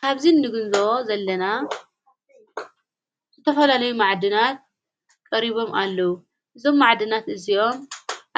ካብዚ ንግንዘቦ ዘለና ዝተፈለለይ መዓድናት ቀሪቦም ኣለዉ እዞም ማዕድናት እዚዮም